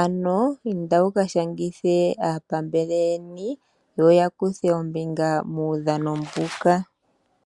ano indeni muka Shangithe aapambele yeni. Yo ya kuthe Ombinga muudhano mbuka.